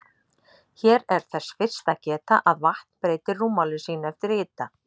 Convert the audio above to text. Hér er þess fyrst að geta að vatn breytir rúmmáli sínu eftir hita.